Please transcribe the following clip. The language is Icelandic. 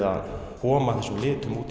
að koma þessum litum út